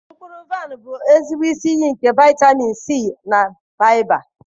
Mkpụrụ vaịn bụ ezigbo isi iyi nke vitamin C na faịba.